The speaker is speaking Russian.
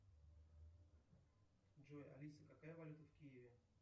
джой алиса какая валюта в киеве